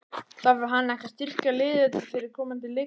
Þarf hann ekki að styrkja liðið fyrir komandi leiktíð?